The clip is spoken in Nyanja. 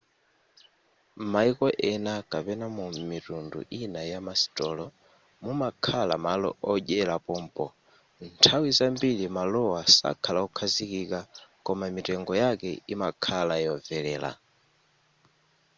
m'mayiko ena kapena mu mitundu ina yamasitolo mumakhala malo odyera pompo nthawi zambiri malowa sakhala okhazikika koma mitengo yake imakhala yomvelera